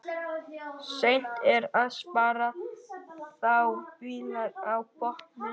Seint er að spara þá bylur á botni.